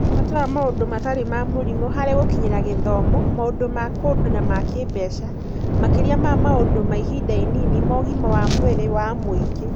Bata wa maũndũ matarĩ ma mũrimũ harĩ gũkinyĩra gĩthomo, makĩria maũndũ ma kũndũ na ma kĩĩmbeca, makĩria ma maũndũ ma ihinda inini ma ũgima wa mwĩrĩ wa mũingĩ.